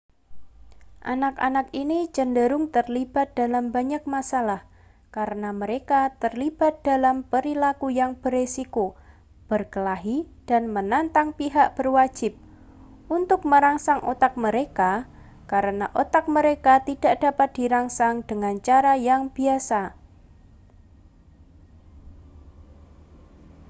anak-anak ini cenderung terlibat dalam banyak masalah karena mereka terlibat dalam perilaku yang berisiko berkelahi dan menantang pihak berwajib untuk merangsang otak mereka karena otak mereka tidak dapat dirangsang dengan cara yang biasa